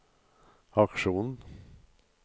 aksjonen